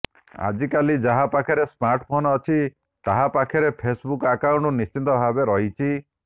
ଆଜିକାଲି ଯାହା ପାଖରେ ସ୍ମାର୍ଟଫୋନ ଅଛି ତାହା ପାଖରେ ଫେସବୁକ୍ ଆକାଉଣ୍ଟ ନିଶ୍ଚିତ ଭାବେ ରହିଛି